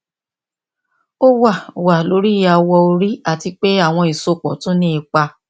o wa wa lori awọ ori ati pe awọn isopọ tun ni ipa